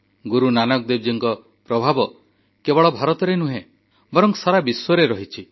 ଗୁରୁ ନାନକ ଦେବଜୀଙ୍କ ପ୍ରଭାବ କେବଳ ଭାରତରେ ନୁହେଁ ବରଂ ସାରା ବିଶ୍ୱରେ ରହିଛି